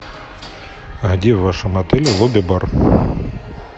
а где в вашем отеле лобби бар